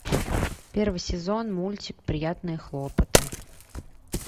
первый сезон мультик приятные хлопоты